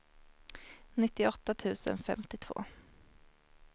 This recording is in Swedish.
nittioåtta tusen femtiotvå